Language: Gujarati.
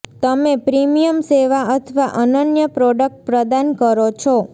તમે પ્રીમિયમ સેવા અથવા અનન્ય પ્રોડક્ટ પ્રદાન કરો છો